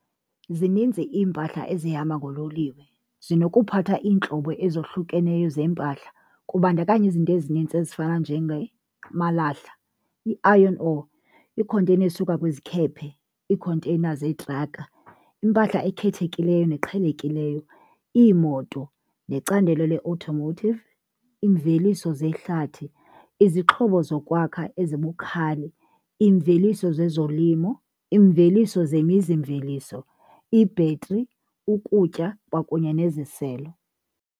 Zininzi iimpahla ezihamba ngololiwe, zinokuphatha iintlobo ezohlukeneyo zeempahla. Kubandakanya izinto ezinintsi ezifana amalahla, i-iron ore, iikhonteyina ezisuka kwizikhephe, iikhonteyina zetraka, impahla ekhethekileyo neqhelekileyo, iimoto necandelo le-automotive, iimveliso zehlathi, izixhobo zokwakha ezibukhali, iimveliso zezolimo, iimveliso zemizimveliso, i-battery, ukutya kwakunye neziselo.